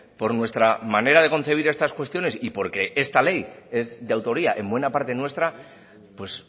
por nuestra manera de concebir estas cuestiones y porque esta ley es de autoría en buena parte nuestra pues